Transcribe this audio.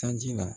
Sanji la